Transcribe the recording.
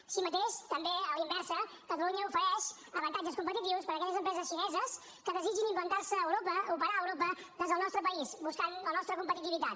així mateix també a la inversa catalunya ofereix avantatges competitius per aquelles empreses xineses que desitgin implantar se a europa operar a europa des del nostre país buscant la nostra competitivitat